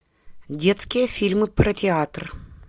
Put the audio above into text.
детские фильмы про театр